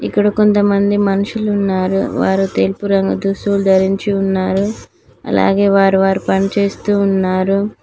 ఇక్కడ కొంతమంది మనుషులు ఉన్నారు వారు తెలుపు రంగు ధరించి ఉన్నారు అలాగే వారు వారి పని చేస్తూ ఉన్నారు.